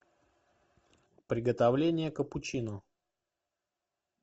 приготовление капучино